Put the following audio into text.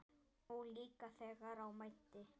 Og líka þegar á mæddi.